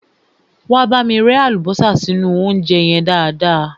Wá bámi rẹ́ àlùbọ́sà sínú óúnjẹ yẹn dáadáa.